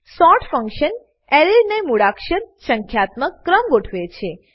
sort function એરેને મૂળાક્ષર સંખ્યાત્મક ક્રમમા ગોઠવે છે